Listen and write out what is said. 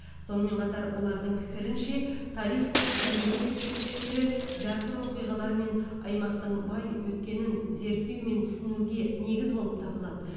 сонымен қатар олардың пікірінше тарих пен мәдениет ескерткіштері жарқын оқиғалармен аймақтың бай өткенін зерттеу мен түсінуге негіз болып табылады